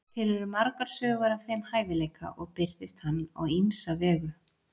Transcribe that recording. Til eru margar sögur af þeim hæfileika og birtist hann á ýmsa vegu.